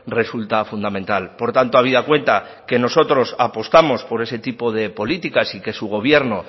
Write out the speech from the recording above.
resulta fundamental por tanto habida cuenta que nosotros apostamos por ese tipo de políticas y que su gobierno